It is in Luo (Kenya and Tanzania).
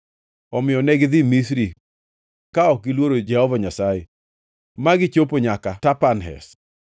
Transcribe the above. Omiyo negidhi Misri ka ok giluoro Jehova Nyasaye ma gichopo nyaka Tapanhes.